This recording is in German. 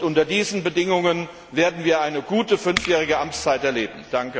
Unter diesen Bedingungen werden wir eine gute fünfjährige Amtszeit erleben.